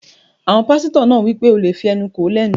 Àwọn pásítọ̀ náà wí pé, "O lè fí ẹnu kò ó lẹ́nu!"